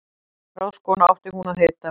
Ráðskona átti hún að heita.